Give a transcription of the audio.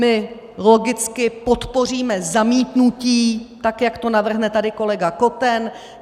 My logicky podpoříme zamítnutí, tak jak to navrhne tady kolega Koten.